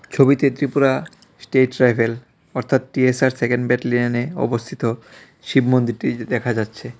ছবিতে Tripura state rifle অর্থাৎ T S R second ব্যাটেলিয়নে অবস্থিত শিব মন্দিরটি দে-দেখা যাচ্ছে.